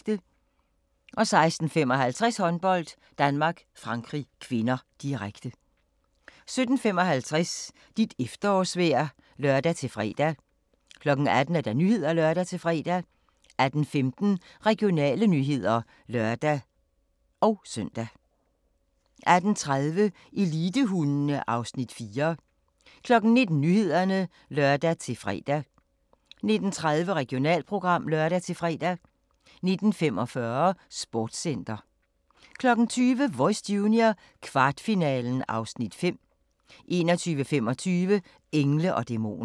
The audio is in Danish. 16:55: Håndbold: Danmark-Frankrig (k), direkte 17:55: Dit efterårsvejr (lør-fre) 18:00: Nyhederne (lør-fre) 18:15: Regionale nyheder (lør-søn) 18:30: Elitehundene (Afs. 4) 19:00: Nyhederne (lør-fre) 19:30: Regionalprogram (lør-fre) 19:45: Sportscenter 20:00: Voice Junior - kvartfinalen (Afs. 5) 21:25: Engle & dæmoner